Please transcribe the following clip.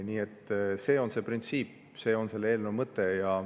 Nii et see on see printsiip, see on selle eelnõu mõte.